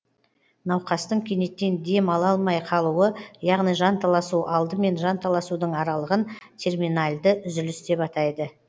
науқастың кенеттен дем ала алмай қалуы яғни жанталасу алды мен жанталасудың аралығын терминальді үзіліс деп атайды